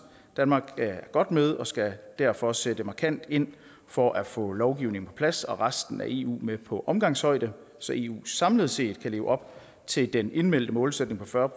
danmark er godt med og skal derfor sætte markant ind for at få lovgivningen på plads og resten af eu med på omgangshøjde så eu samlet set kan leve op til den indmeldte målsætning på fyrre